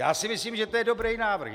Já si myslím, že to je dobrý návrh.